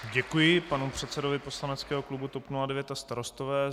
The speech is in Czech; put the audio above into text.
Děkuji panu předsedovi poslaneckého klubu TOP 09 a Starostové.